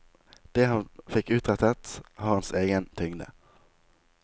Det han fikk utrettet, har hans egen tyngde.